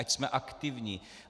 Ať jsme aktivní.